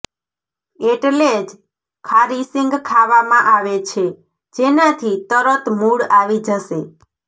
એટલે જ ખારી શીંગ ખાવા માં આવે છે જેનાથી તરત મૂડ આવી જશે